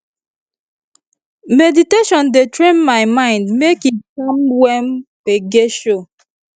meditation dey train my mind make e calm when gbege show